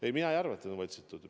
Ei, mina ei arva, et on võltsitud.